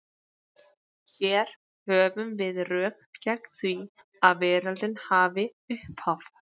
Hér höfum við rök gegn því að veröldin hafi upphaf.